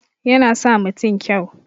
Yana sa mutun kyau